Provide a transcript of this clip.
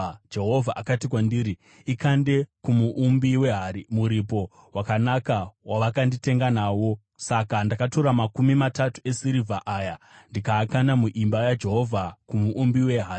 Jehovha akati kwandiri, “Ikande kumuumbi wehari, muripo wakanaka wavakanditenga nawo!” Saka ndakatora makumi matatu esirivha aya ndikaakanda muimba yaJehovha kumuumbi wehari.